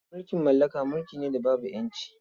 Mulkin mallaka mulki ne da babu ƴanci.